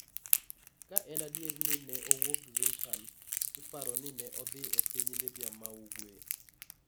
Ka en adier ni ne owuok Zintan, iparo ni ne odhi e piny Libya ma ugwe.